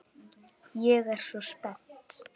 Ég er svo spennt.